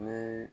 Ni